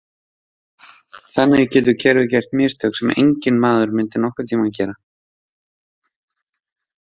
Þannig getur kerfið gert mistök sem enginn maður myndi nokkurn tíma gera.